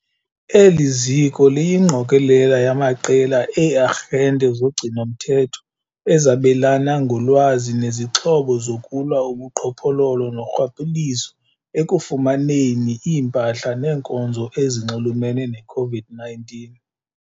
Eli ziko liyingqokelela yamaqela ee-arhente zogcino-mthetho ezabelana ngolwazi nezixhobo zokulwa ubuqhophololo norhwaphilizo ekufumaneni iimpahla neenkonzo ezinxulumene ne-COVID-19 .